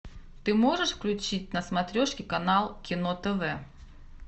ты можешь включить на смотрешке канал кино тв